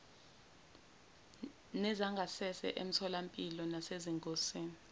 nezangasese emitholampilo nasezingosini